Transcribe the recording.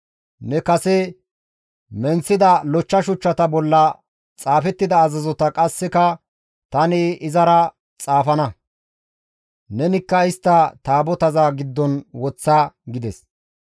Ne kase menththida lochcha shuchchata bolla xaafettida azazota qasseka tani izara xaafana; nenikka istta Taabotaza giddon woththa» gides.